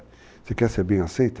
Você quer ser bem aceita?